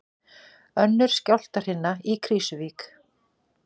Önnur skjálftahrina í Krýsuvík